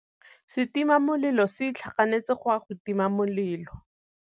Setima molelô se itlhaganêtse go ya go tima molelô.